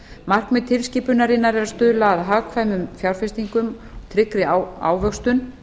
markmið tilskipunarinnar er að stuðla að hagkvæmum fjárfestingum og tryggri ávöxtun